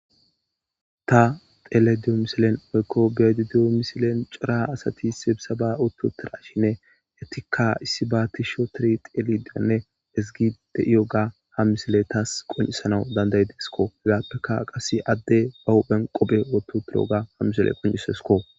Ta beyda diya misilen corra adati sibsabba utidideyssa beyays issiba qofidi deyssa hamisilley qocises issi bitaney qobbe wotho uttidoga hamisiley qoncisekko.